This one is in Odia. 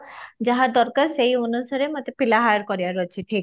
ଯାହା ଦରକାର ସେଇ ଅନୁସାରେ ମୋତେ ପିଲା hire କରିବାର ଅଛି ଠିକ